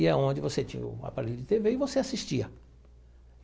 E é onde você tinha o aparelho de tê vê e você assistia.